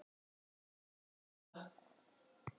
Hún gerði þetta bara.